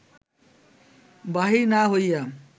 বাহির না হইয়া